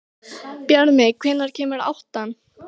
Bjarmi, hvenær kemur áttan?